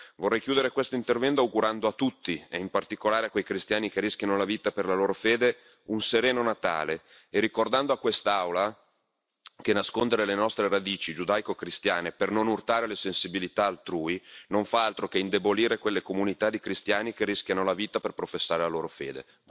Vorrei chiudere questo intervento augurando a tutti, e in particolare a quei cristiani che rischiano la vita per la loro fede, un sereno Natale e ricordando a quest'Aula che nascondere le nostre radici giudaico cristiane per non urtare le sensibilità altrui non fa altro che indebolire quelle comunità di cristiani che rischiano la vita per professare la loro fede.